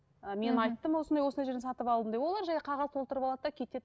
ы мен айттым осындай осындай жерден сатып алдым деп олар жай қағаз толтырып алады да кетеді